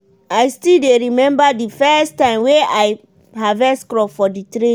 i still dey remember di first time wey i harvest crop for di training.